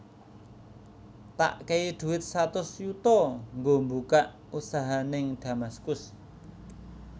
Tak kei duit satus yuto nggo mbukak usaha ning Damaskus